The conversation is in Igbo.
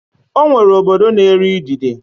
Ọ nwere obodo na-eri idide.